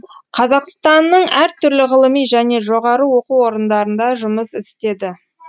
қазақстанның әр түрлі ғылыми және жоғары оқу орындарында жұмыс істеді